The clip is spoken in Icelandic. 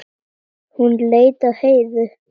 Hún leit á Heiðu.